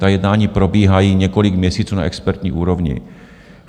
Ta jednání probíhají několik měsíců na expertní úrovni.